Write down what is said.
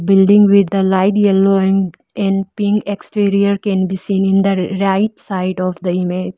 building with the light yellow and and pink exterior can be seen in the r-right side of the image.